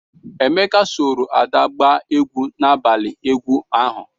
Emeka soro Ada gbaa egwu n'abalị egwu ahụ.